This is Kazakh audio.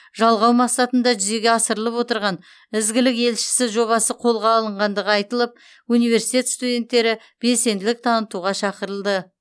жалғау мақсатында жүзеге асырылып отырған ізгілік елшісі жобасы қолға алынғандығы айтылып университет студенттері белсенділік танытуға шақырылды